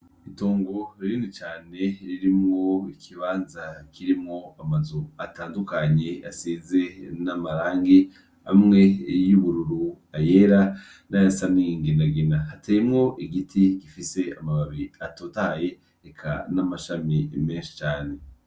Itongo ririni cane ririmwo ikibanza kirimwo amazu atandukanye aseze n'amarangi amwe youbururu ayera n'ayasaninginagina hatemwo igiti gifise amababi atotahaye eka n'amashami imenshi cane.